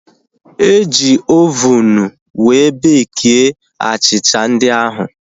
Eji ovunu wee bekie achịcha ndị ahu